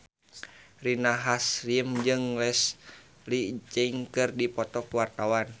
Rina Hasyim jeung Leslie Cheung keur dipoto ku wartawan